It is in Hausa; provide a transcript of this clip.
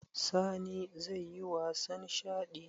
Sani zai yi wasan shaɗi?